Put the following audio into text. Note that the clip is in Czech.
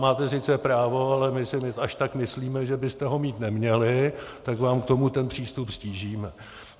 Máte sice právo, ale my si až tak myslíme, že byste ho mít neměli, tak vám k tomu ten přístup ztížíme.